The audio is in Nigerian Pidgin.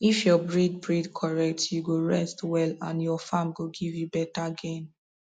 if your breed breed correct you go rest well and your farm go give you better gain